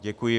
Děkuji.